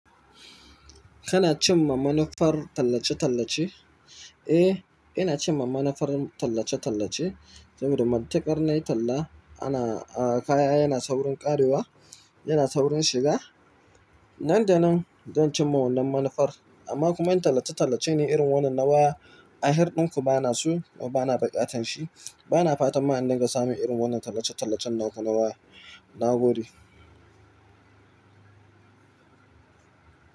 Kana cinma manufar tallace-tallace? Eh, ina cinma manufar tallace-tallace saboda matuƙar na yi talla. Ana, ah, kaya yana saurin ƙarewa, yana saurin shiga. Nan da nan zan cimma wannan manufar. Amma kuma in tallace-tallace ne irin wannan na waya ahir ɗinku bana so kuma bana buƙatar shi. Bana fatan ma in dinga samin irin wannan tallace-tallacen naku na waya na gode.